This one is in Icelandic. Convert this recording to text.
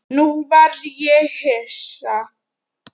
Nú varð ég hissa.